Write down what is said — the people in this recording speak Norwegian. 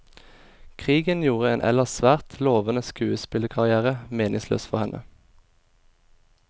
Krigen gjorde en ellers svært lovende skuespillerkarrière meningsløs for henne.